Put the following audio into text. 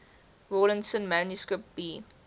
rawlinson manuscript b